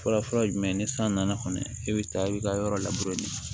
Fɔlɔfɔlɔ ye jumɛn ye ni san nana kɔni i bɛ taa i bɛ ka yɔrɔ labure